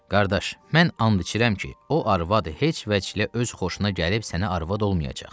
Qardaş, mən and içirəm ki, o arvad heç vəclə öz xoşuna gəlib sənə arvad olmayacaq.